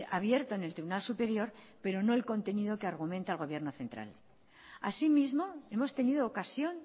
abierto en el tribunal superior pero no el contenido que argumento el gobierno central asimismo hemos tenido ocasión